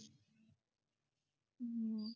ਹੂ